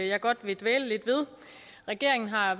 jeg godt vil dvæle lidt ved regeringen har